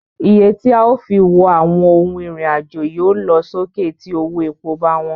Iye tí a ó fi wọ àwọn ohun ìrìn àjò yóò lọ sókè tí owó epo bá wọn.